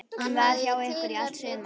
Hún var hjá ykkur í allt sumar.